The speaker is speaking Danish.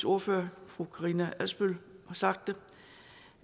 ordfører fru karina adsbøl har sagt